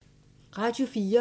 Radio 4